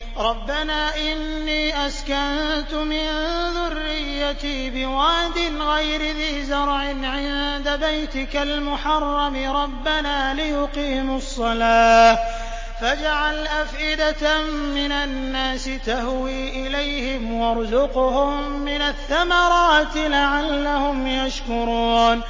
رَّبَّنَا إِنِّي أَسْكَنتُ مِن ذُرِّيَّتِي بِوَادٍ غَيْرِ ذِي زَرْعٍ عِندَ بَيْتِكَ الْمُحَرَّمِ رَبَّنَا لِيُقِيمُوا الصَّلَاةَ فَاجْعَلْ أَفْئِدَةً مِّنَ النَّاسِ تَهْوِي إِلَيْهِمْ وَارْزُقْهُم مِّنَ الثَّمَرَاتِ لَعَلَّهُمْ يَشْكُرُونَ